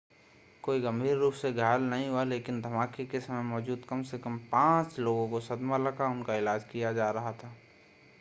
कोई गंभीर रूप से घायल नहीं हुआ लेकिन धमाके के समय मौजूद कम से कम पांच लोगों को सदमा लगा उनका इलाज किया जा रहा था